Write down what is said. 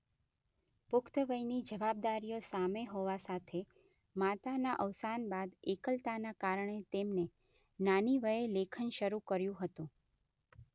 પુખ્તવયની જવાબદારીઓ સામે હોવા સાથે માતાના અવસાન બાદ એકલતાના કારણે તેમને નાની વયે લેખન શરૂ કર્યું હતું.